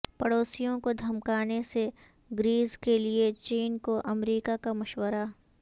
پڑوسیوں کو دھمکانے سے گریز کیلئے چین کو امریکہ کا مشورہ